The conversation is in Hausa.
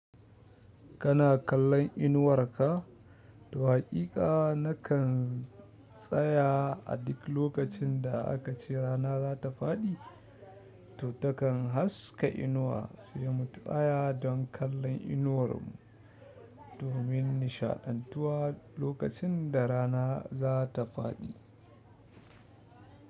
Kana kallon inuwarka? To haƙiƙa nakan tsaya a duk lokacin da aka ce rana za ta faɗi to takan haska inuwa sai mu tsaya don kallon inuwar mu domin nishaɗantuwa lokacin da rana zata faɗi.